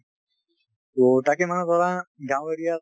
তো তাকে মানে ধৰা গাঁও area ত